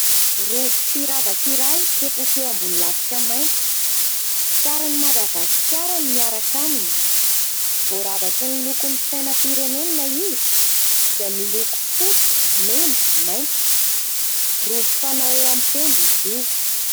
Rojo firavaka iray, mipetraka eo ambony lafika mainty. Sarin'i Madagasikara no miaraka aminy, voaravaky ny lokon'ny sainam-pirenena ilay izy, izay miloko fotsy, mena, maitso. Rojo fanao eo amin'ny tenda izy io.